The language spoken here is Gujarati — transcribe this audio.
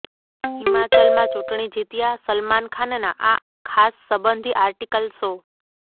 હિમાચલમાં ચૂંટણી જીત્યાં સલમાન ખાનના આ ખાસ સંબંધી આર્ટિકલ શો